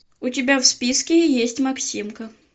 у тебя в списке есть максимка